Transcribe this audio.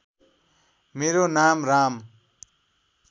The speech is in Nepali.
मेरो नाम राम